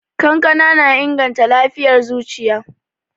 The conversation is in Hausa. Kankana na inganta lafiyar zuciya.